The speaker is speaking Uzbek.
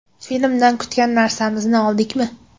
Filmdan kutgan narsamizni oldikmi?